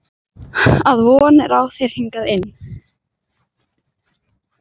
Að von er á þér hingað inn.